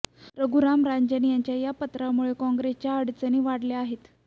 रघुराम राजन यांच्या या पत्रामुळे काँग्रेसच्या अडचणी वाढल्या आहेत